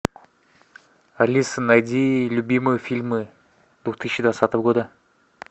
алиса найди любимые фильмы две тысячи двадцатого года